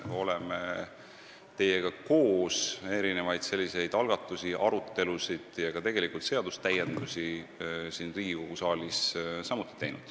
Oleme teiega koos pidanud arutelusid ja teinud algatusi, tegelikult seadustäiendusi siin Riigikogu saalis samuti.